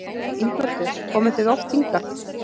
Ingveldur: Komið þið oft hingað?